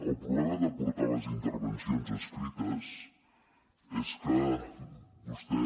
el problema de portar les intervencions escrites és que vostè